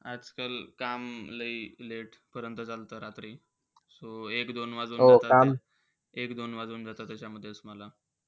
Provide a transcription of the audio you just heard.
आजकाल काम लई late पर्यंत चालतं रात्री. so एक-दोन एक-दोन वाजून एक-दोन वाजून जातात त्याच्यामधेचं मला.